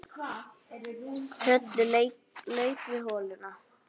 Trölli lauk við holuna